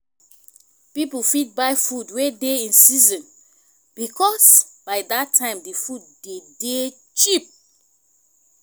pipo fit buy food wey dey in season because by that time di food de dey cheap